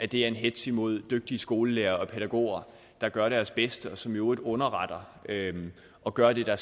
det er en hetz imod dygtige skolelærere og pædagoger der gør deres bedste og som i øvrigt underretter og gør det der